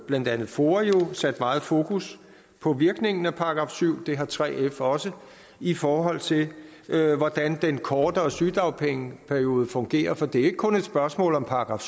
blandt andet foa sat meget fokus på virkningen af § syv det har 3f også i forhold til hvordan den kortere sygedagpengeperiode fungerer for det er ikke kun et spørgsmål om §